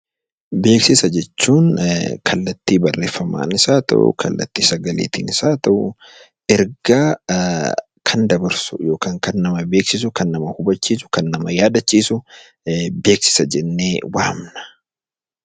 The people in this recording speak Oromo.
Beeksisa jechuun kallattii barreeffamatiinis haa ta'u kallattii sagaleetinis haa ta'u ergaa kan dabarsu, kan nama hubachiisu fi kan nama yaaddachiisu beeksisa jennee waamna.